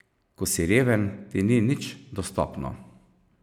Ko si reven, ti ni nič dostopno.